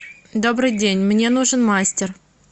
добрый день мне нужен мастер